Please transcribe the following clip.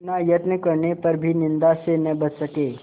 इतना यत्न करने पर भी निंदा से न बच सके